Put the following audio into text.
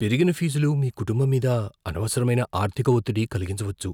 పెరిగిన ఫీజులు మీ కుటుంబం మీద అనవసరమైన ఆర్థిక ఒత్తిడి కలిగించవచ్చు.